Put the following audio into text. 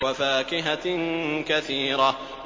وَفَاكِهَةٍ كَثِيرَةٍ